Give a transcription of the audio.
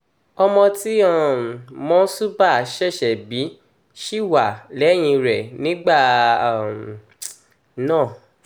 ọmọ tí um monsuba ṣẹ̀ṣẹ̀ bí ṣì wà lẹ́yìn rẹ̀ nígbà um náà